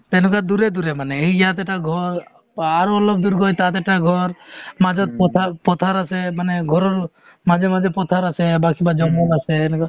তেনেকুৱা দূৰে দূৰে মানে এই ইয়াত এটা ঘৰ আৰু অলপ দূৰ গৈ তাত এটা ঘৰ মাজত পথাৰ~পথাৰ আছে মানে ঘৰৰ মাজে মাজে পথাৰ আছে বা কিবা জংগল আছে এনেকুৱা